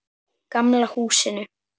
Gamla húsinu.